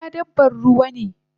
Kura dabban ruwa ne